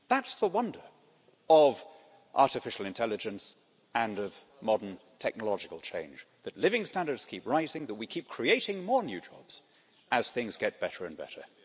That's the wonder of artificial intelligence and of modern technological change that living standards keep rising, that we keep creating more new jobs as things get better and better.